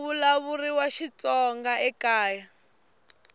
ku vulavuriwa xitsonga ekaya